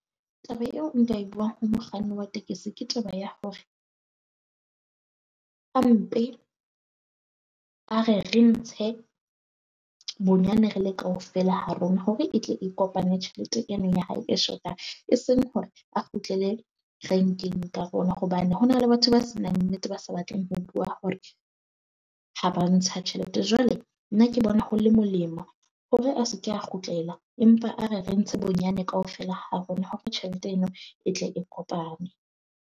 Taba eo nka e buang ho mokganni wa tekesi ke taba ya hore, a re re ntshe bonyane re le kaofela ha rona hore e tle e kopane tjhelete eno ya hae e shotang. E seng hore a kgutlele renkeng ka rona, hobane ho na le batho ba se nang nnete, ba sa batleng ho bua hore ha ba ntsha tjhelete. Jwale nna ke bona ho le molemo hore a se ke a kgutlela empa a re re ntse bonyane kaofela ha rona hore tjhelete eno e tle e kopane.